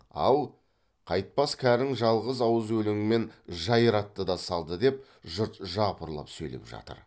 ал қайтпас кәрің жалғыз ауыз өлеңмен жайратты да салды деп жұрт жапырлап сөйлеп жатыр